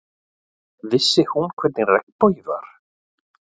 Vissi hún hvernig regnbogi var?